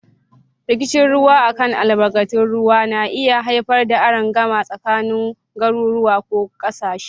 Rikicin ruwa a kan albarkatun ruwa na iya haifar da arangama tsakanin garuruwa ko kasashe.